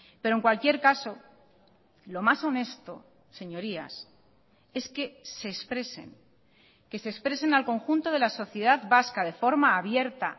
pero en cualquier caso lo más honesto señorías es que se expresen que se expresen al conjunto de la sociedad vasca de forma abierta